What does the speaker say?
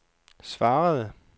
svarende